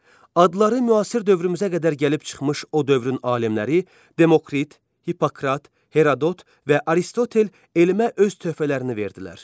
Adları müasir dövrümüzə qədər gəlib çıxmış o dövrün alimləri Demokrit, Hippokrat, Herodot və Aristotel elmə öz töhfələrini verdilər.